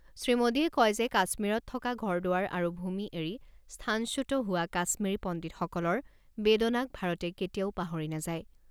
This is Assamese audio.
শ্ৰীমোডীয়ে কয় যে কাশ্মীৰত থকা ঘৰ দুৱাৰ আৰু ভূমি এৰি স্থানচ্যুত হোৱা কাশ্মীৰি পণ্ডিতসকলৰ বেদনাক ভাৰতে কেতিয়াও পাহৰি নাযায়।